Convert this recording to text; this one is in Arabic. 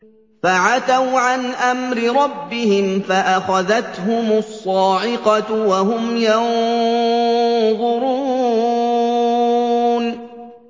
فَعَتَوْا عَنْ أَمْرِ رَبِّهِمْ فَأَخَذَتْهُمُ الصَّاعِقَةُ وَهُمْ يَنظُرُونَ